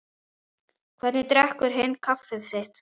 Hvernig drekkur hinn kaffið sitt?